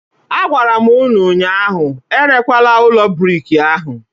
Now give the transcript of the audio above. A gwara m unu ụnyahụ, e rekwaala ụlọ brik ahụ